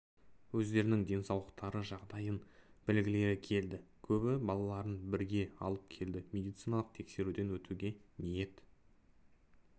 өздерінің денсаулықтары жағдайын білгілері келді көбі балаларын бірге алып келді медициналық тексеруден өтуге ниет